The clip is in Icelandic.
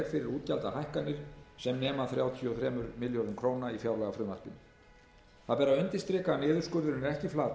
útgjaldahækkanir sem nema þrjátíu og þremur milljörðum króna í fjárlagafrumvarpinu það ber að undirstrika að niðurskurðurinn er ekki